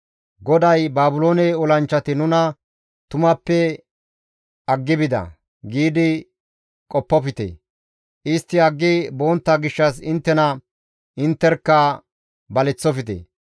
GODAY, « ‹Baabiloone olanchchati nuna tumappe aggi bida› giidi qoppofte; istti aggi bontta gishshas inttena intterkka baleththofte.